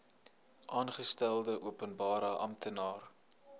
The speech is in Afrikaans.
aangestelde openbare amptenaar